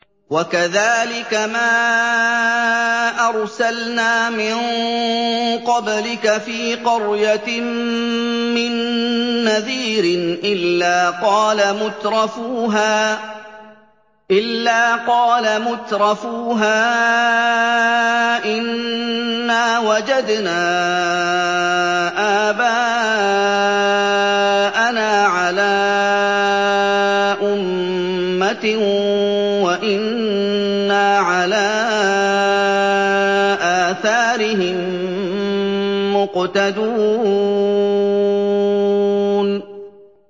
وَكَذَٰلِكَ مَا أَرْسَلْنَا مِن قَبْلِكَ فِي قَرْيَةٍ مِّن نَّذِيرٍ إِلَّا قَالَ مُتْرَفُوهَا إِنَّا وَجَدْنَا آبَاءَنَا عَلَىٰ أُمَّةٍ وَإِنَّا عَلَىٰ آثَارِهِم مُّقْتَدُونَ